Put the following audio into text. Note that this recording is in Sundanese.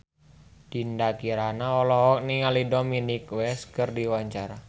Dinda Kirana olohok ningali Dominic West keur diwawancara